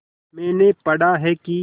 मैंने पढ़ा है कि